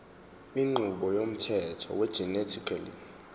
inqubo yomthetho wegenetically